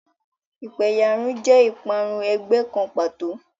Ìpẹ̀yàrun jẹ́ ìparun ẹgbẹ́ kan pàtó.